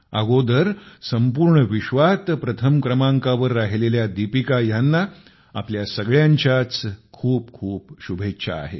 पूर्वी संपूर्ण विश्वात प्रथम क्रमांकावर राहिलेल्या दीपिका ह्यांना आपल्या सगळ्यांच्याच खूप खूप शुभेच्छा आहेत